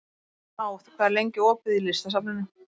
Náð, hvað er lengi opið í Listasafninu?